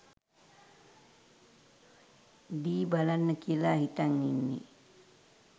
ඩී බලන්න කියලා හිතන් ඉන්නේ.